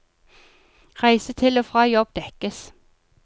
Reise til og fra jobb dekkes.